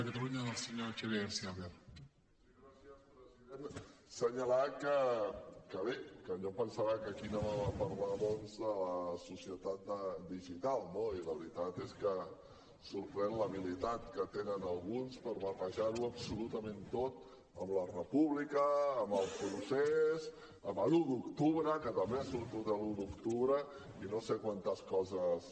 assenyalar que bé que jo em pensava que aquí anàvem a parlar doncs de la societat digital no i la veritat és que sorprèn l’habilitat que tenen alguns per barrejar ho absolutament tot amb la república amb el procés amb l’un d’octubre que també ha sortit l’un d’octubre i no sé quantes coses més